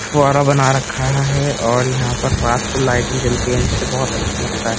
फुआरा बना रखा है और यहाँ पर रात को लाइट भी जलती है जिससे बहोत अच्छा लगता है।